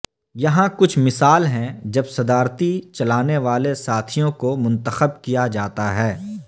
یہاں کچھ مثال ہیں جب صدارتی چلانے والے ساتھیوں کو منتخب کیا جاتا ہے